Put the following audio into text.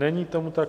Není tomu tak.